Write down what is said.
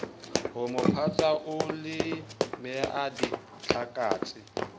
homo phatsa o ileammeha ditlhakatse